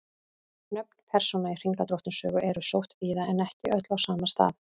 Nöfn persóna í Hringadróttinssögu eru sótt víða en ekki öll á sama stað.